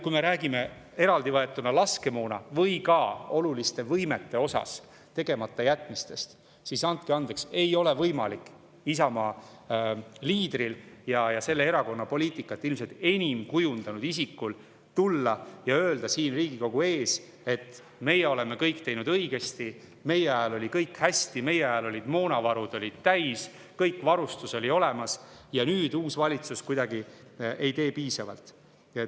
Kui me räägime tegematajätmistest eraldi võetuna laskemoona või ka oluliste võimete puhul, siis andke andeks, ei ole võimalik Isamaa liidril ja selle erakonna poliitikat ilmselt enim kujundanud isikul öelda siin Riigikogu ees, et meie oleme kõik teinud õigesti, meie ajal oli kõik hästi, meie ajal olid moonalaod täis, kogu varustus oli olemas, ja nüüd uus valitsus ei tee piisavalt.